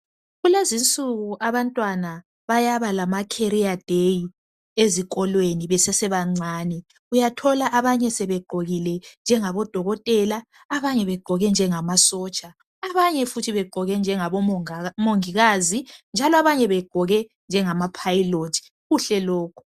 Kulezinsuku abantwana bayaba lama career day. Ezikolweni besesebancani, uyathola abanye sebegqokile njengabo dokotela abanye begqoke njengamasotsha. Abanye futhi begqoke njengabomongikazi ,njalo abanye begqoke njengama pilot .Kuhle lokhu.